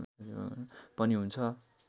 पनि हुन्छ